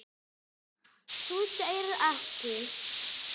Þú segir ekki!?!